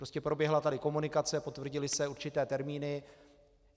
Prostě proběhla tady komunikace, potvrdily se určité termíny.